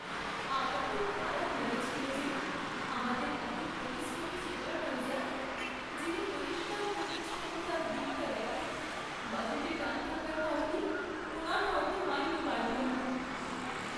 আমার খুব খারাপ লেগেছিল যে আমাদের এত পরিশ্রমী সুপারভাইজার, যিনি পরিষ্কার পরিচ্ছন্নতার দিকটা দেখেন, বাজেটে টান থাকার কারণে ওনার হয়তো মাইনে বাড়বে না।